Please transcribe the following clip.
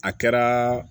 A kɛra